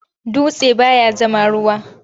Dutse baya zama ruwa.